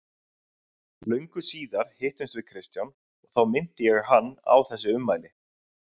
Löngu síðar hittumst við Kristján og þá minnti ég hann á þessi ummæli.